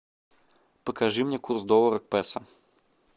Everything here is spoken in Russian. покажи мне курс доллара к песо